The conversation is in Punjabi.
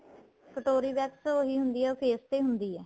ਕਟੋਰੀ wax ਉਹੀ ਹੁੰਦੀ ਏ ਉਹ face ਤੇ ਹੁੰਦੀ ਏ